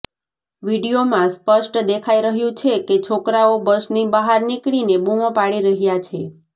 વીડિયોમાં સ્પષ્ટ દેખાઈ રહ્યું છે કે છોકરાઓ બસની બહાર નીકળીને બૂમો પાડી રહ્યા છે